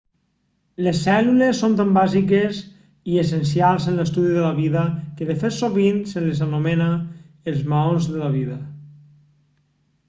les cèl·lules són tan bàsiques i essencials en l'estudi de la vida que de fet sovint se les anomena els maons de la vida